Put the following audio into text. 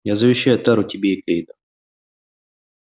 я завещаю тару тебе и кэйду